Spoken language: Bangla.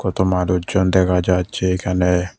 তো মানুচজন দেখা যাচ্ছে এখানে।